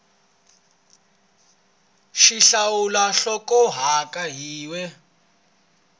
x hlawula nhlokomhaka yin we